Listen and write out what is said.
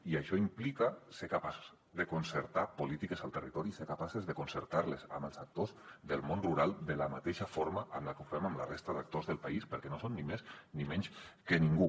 i això implica ser capaços de concertar polítiques al territori i ser capaços de concertar les amb els actors del món rural de la mateixa forma que ho fem amb la resta d’actors del país perquè no són ni més ni menys que ningú